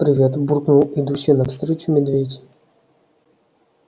привет буркнул идущий навстречу медведь